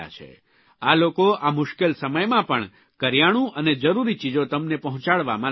આ લોકો આ મુશ્કેલ સમયમાં પણ કરીયાણું અને જરૂરી ચીજો તમને પહોંચાડવામાં લાગેલા છે